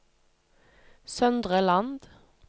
Søndre Land